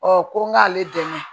ko n k'ale dɛmɛ